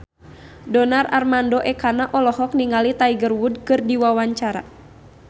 Donar Armando Ekana olohok ningali Tiger Wood keur diwawancara